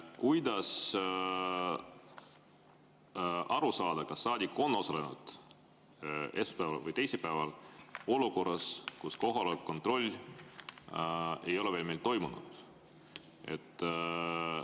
Kuidas aru saada, kas saadik on osalenud esmaspäeval või teisipäeval, olukorras, kus kohaloleku kontroll ei ole veel toimunud?